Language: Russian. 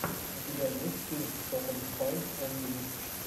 у тебя есть фильм тоталли спайс энд витч